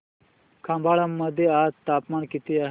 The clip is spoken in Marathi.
खंबाळे मध्ये आज तापमान किती आहे